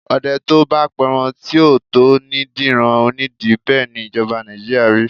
Ọdẹ tó bá pẹran tí ò tó ní dẹran onídin, bẹ́ẹ̀ ni ìjọba Nàìjíríà rí.